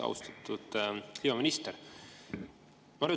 Austatud kliimaminister!